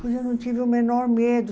Pois eu não tive o menor medo.